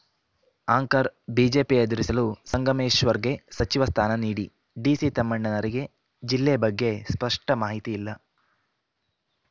anchor BJP ಎದುರಿಸಲು ಸಂಗಮೇಶ್ವರ್‌ಗೆ ಸಚಿವ ಸ್ಥಾನ ನೀಡಿ ಡಿಸಿ ತಮ್ಮಣ್ಣರಿಗೆ ಜಿಲ್ಲೆ ಬಗ್ಗೆ ಸ್ಪಷ್ಟಮಾಹಿತಿ ಇಲ್ಲ